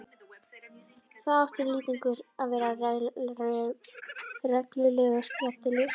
Þá átti Lýtingur til að vera reglulega skemmtilegur.